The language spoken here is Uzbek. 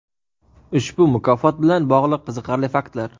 Ushbu mukofot bilan bogʼliq qiziqarli faktlar.